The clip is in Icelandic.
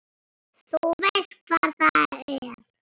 Þú veist hvar það er?